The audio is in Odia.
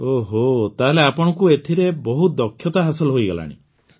ଓହୋ ତାହେଲେ ଆପଣଙ୍କୁ ଏଥିରେ ବହୁତ ଦକ୍ଷତା ହାସଲ ହୋଇଗଲାଣି